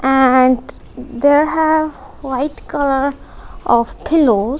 and there have white colour of pillows.